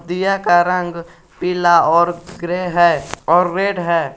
दिया का रंग पीला और ग्रे है और रेड है।